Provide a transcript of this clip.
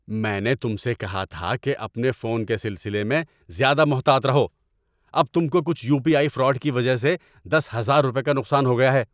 میں نے تم سے کہا تھا کہ اپنے فون کے سلسلے میں زیادہ محتاط رہو۔ اب تم کو کچھ یو پی آئی فراڈ کی وجہ سے دس ہزار روپے کا نقصان ہو گیا ہے۔